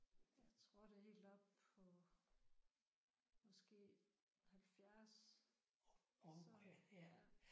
Jeg tror det er helt oppe på måske 70 så ja